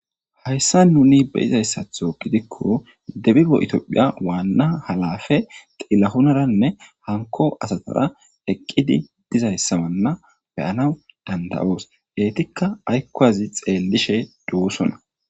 hayssa nuni beyizayssatho gidikko debibo itoophiya waanna halafe xilahunaranne hanko asatara eqqidi dizayssamanna beyana danda7oos geetikka aykkowazi xeellishe duusona